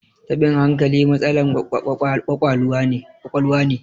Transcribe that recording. tabin hankali matsalan kwakwaluwa ne